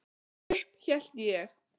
Og upp hélt ég.